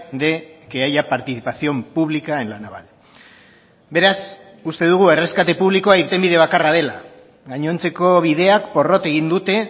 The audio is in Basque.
de que haya participación pública en la naval beraz uste dugu erreskate publikoa irtenbide bakarra dela gainontzeko bideak porrot egin dute